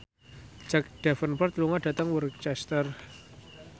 Jack Davenport lunga dhateng Worcester